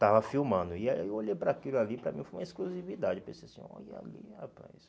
estava filmando, e aí eu olhei para aquilo ali, para mim foi uma exclusividade, pensei assim, olha ali, rapaz